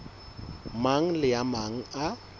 mang le a mang a